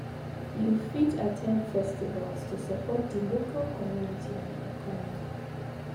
You fit at ten d festivals to support di local community and economy.